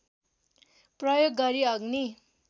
प्रयोग गरी अग्नि